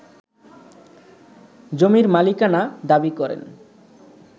জমির মালিকানা দাবি করেন